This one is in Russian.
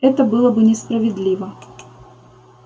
это было бы несправедливо